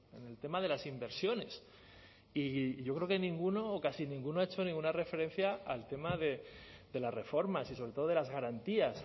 en el tema de las inversiones y yo creo que ninguno o casi ninguno ha hecho ninguna referencia al tema de las reformas y sobre todo de las garantías